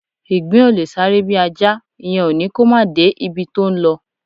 Ìgbín ò lè sáré bí Ajá; ìyẹn ò ní kó máà de ibi tó ńlọ.